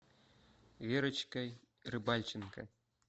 верочкой рыбальченко